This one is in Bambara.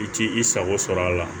I t'i sago sɔrɔ a la